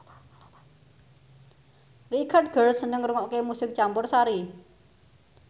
Richard Gere seneng ngrungokne musik campursari